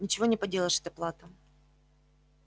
ничего не поделаешь это плата